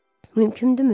Mümkündürmü?